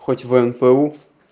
хоть внпу